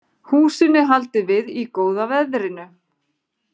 Húsinu haldið við í góða veðrinu